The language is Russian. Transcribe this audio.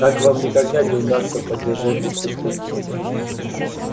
так вам никогда не удастся поддержать дисциплину